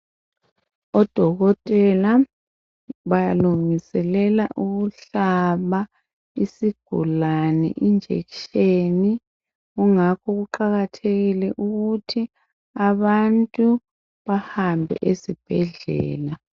Odokotela balungiselela ukuhlaba isigulane ijekiseni kungakho kuqakathekile ukuthi abantu bahambe esibhedlela.